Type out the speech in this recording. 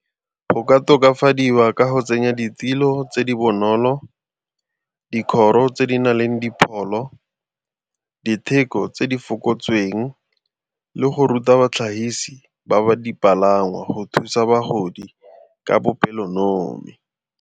Go ka tokafadiwa ka go tsenya ditilo tse di bonolo, dikgoro tse di na leng dipholo, ditheko tse di fokotsweng le go ruta batlhagisi ba ba dipalangwa go thusa bagodi ka bopelonomi.